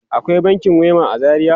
Akwai bankin Wema a Zaria?